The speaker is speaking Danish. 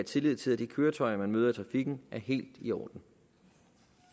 tillid til at de køretøjer man møder i trafikken er helt i orden